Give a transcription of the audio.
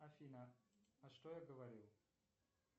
афина а что я говорил